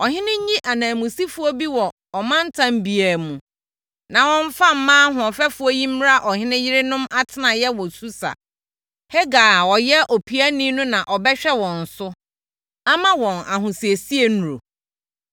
Ɔhene nyi ananmusifoɔ bi wɔ ɔmantam biara mu, na wɔmfa mmaa ahoɔfɛfoɔ yi mmra ɔhene yerenom atenaeɛ wɔ Susa. Hegai a ɔyɛ opiani no na ɔbɛhwɛ wɔn so, ama wɔn ahosiesie nnuro.